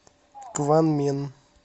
кванмен